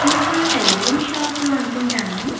ఇది ఒక tailoring shop లో అనుకుంటాను.